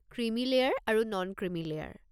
Creamy layer আৰু non-creamy layer.